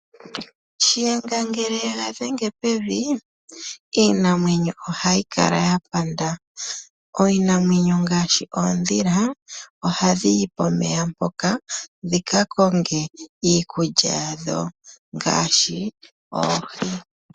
Shiyenga ngele ye ga dhenge pevi, iinamwenyo ohayi kala ya panda. Iinamwenyo ngaashi oondhila ohadhi yi pomeya mpoka dhika konge iikulya yadho ngaashi oohi.